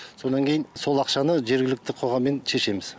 сонан кейін сол ақшаны жергілікті қоғаммен шешеміз